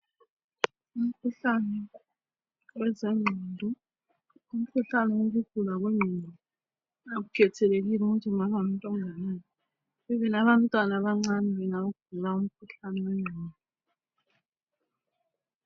Umkhuhlane wezengqondo, Umkhuhlane wokugulwa kwengqondo, awukhethelekile ukuthi kungaba ngumuntu onganani, iloba abantwana abancane bengawugula umkhuhlane wengqondo.